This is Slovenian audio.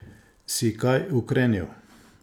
Si kaj ukrenil?